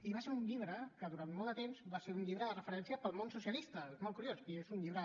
i va ser un llibre que durant molt de temps va ser un llibre de referència per al món socialista és molt curiós i és un llibre